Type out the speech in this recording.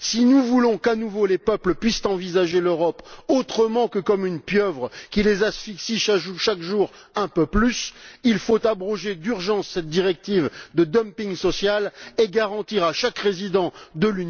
Si nous voulons qu'à nouveau les peuples puissent envisager l'Europe autrement que comme une pieuvre qui les asphyxie chaque jour un peu plus, il faut abroger d'urgence cette directive de dumping social et garantir à chaque résident de l'Union un socle de droits sociaux.